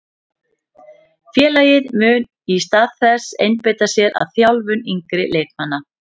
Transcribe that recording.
Félagið mun í stað þess einbeita sér að þjálfun yngri leikmanna.